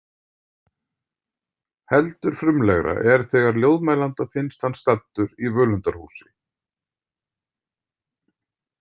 Heldur frumlegra er þegar ljóðmælanda finnst hann staddur í völundarhúsi